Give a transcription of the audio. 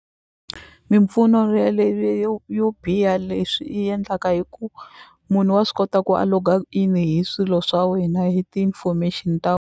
Mimpfuno yo yo biha leswi endlaka hi ku munhu wa swi kota ku a log-a in hi swilo swa wena hi ti information ta.